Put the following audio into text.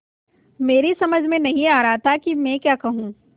मेरी समझ में नहीं आ रहा था कि मैं क्या कहूँ